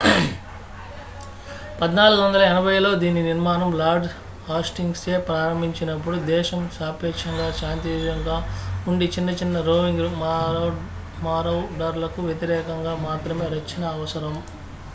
1480లలో దీని నిర్మాణం lord hastings చే ప్రారంభించబడినప్పుడు దేశం సాపేక్షంగా శాంతియుతంగా ఉండి చిన్న చిన్న రోవింగ్ మారౌడర్లకు వ్యతిరేకంగా మాత్రమే రక్షణ అవసరం